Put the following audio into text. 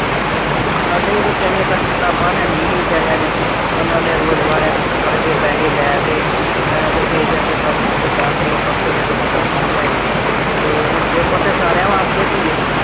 ਹਮ ਸਾਡੇ ਵੀ ਬੱਚਿਆਂ ਦੀਆਂ ਕੱਲ ਕਿਤਾਬਾਂ ਹੈ ਨੀ ਸੀ ਬਿਚਾਰੀਆਂ ਨੇ ਉਨ੍ਹਾਂ ਨੇ ਰੋਜ ਦੁਬਾਰਾ ਫੜ ਕੇ ਪੈਸੇ ਲੈ ਕੇ ਅਹ ਤੇ ਜਾ ਕੇ ਕੱਲ ਗੁਰਦਾਸਪੁਰੋਂ ਪਰਸੋਂ ਜਾ ਕੇ ਕਿਤਾਬਾਂ ਲਿਆਏ। ਤੇ ਪੇਪਰ ਤੇ ਸਾਰਿਆਂ ਵਾਸਤੇ ਆ ਧੀਏ।